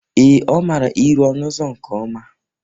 Ee, ọ mara ịrụ ọnụ ụzọ nke ọma.